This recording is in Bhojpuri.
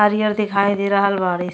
हरियर दिखाई दे रहल बाड़े --